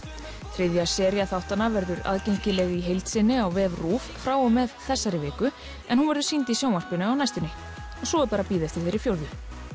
þriðja sería þáttanna verður aðgengileg í heild sinni á vef RÚV frá og með þessari viku en hún verður sýnd í sjónvarpinu á næstunni svo er bara að bíða eftir þeirri fjórðu